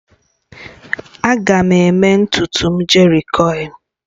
Aga m eme ntutu m jerikoil